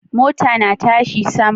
Mota na tashi sama